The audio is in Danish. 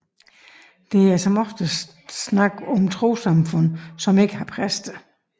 Der er som oftest tale om trossamfund som ikke har præster